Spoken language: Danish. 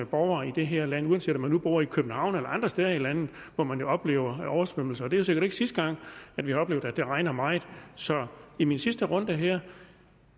borgere i det her land uanset om man nu bor i københavn eller andre steder i landet hvor man oplever oversvømmelser det er sikkert ikke sidste gang at vi har oplevet at det regner meget så i min sidste runde her